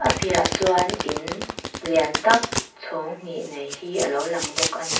piahah chuan in lian tak chhawng hnih nei hi a lo lang bawk a ni.